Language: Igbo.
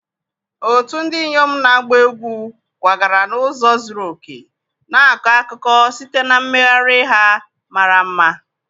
otu ndị inyom na-agba egwu kwagara n'ụzọ zuru oke, na-akọ akụkọ site na mmegharị ha mara mma.